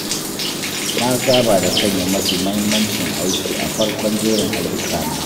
Na saba da sanya mafi muhimmancin aiki a farkon jerin ayyukana.